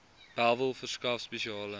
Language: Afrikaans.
bellville verskaf spesiale